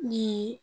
Ni